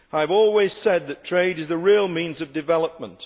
I have always said that trade is the real means of development.